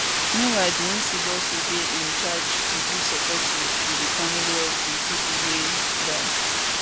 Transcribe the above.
meanwhile di nsib also dey in charge to give support to to di families of di pipo wey die